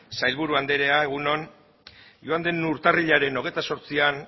sailburu anderea egun on joan den urtarrilaren hogeita zortzian